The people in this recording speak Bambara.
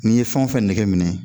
N'i ye fɛn o fɛn nege minɛ